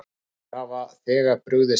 Nokkrir hafa þegar brugðist við.